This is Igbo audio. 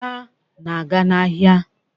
Ada na-aga n'ahịa.